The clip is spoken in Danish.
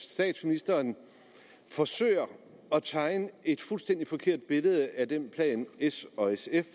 statsministeren forsøger at tegne et fuldstændig forkert billede af den plan s og sf